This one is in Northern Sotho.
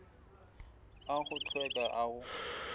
a go hlweka a go